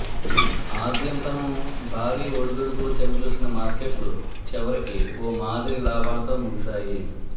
ఆద్యంతమూ భారీ ఒడిదుడుకులు చవిచూసిన మార్కెట్లు చివరికి ఓ మాదిరి లాభాలతో ముగిశాయి